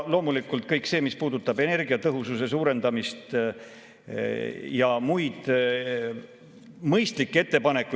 Loomulikult kõik see, mis puudutab energiatõhususe suurendamist ja muid mõistlikke ettepanekuid.